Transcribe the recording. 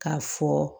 K'a fɔ